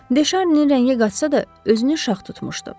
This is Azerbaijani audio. De Şarninin rəngi qaçsa da, özünü şax tutmuşdu.